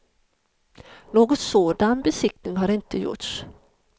Någon sådan besiktning har inte gjorts.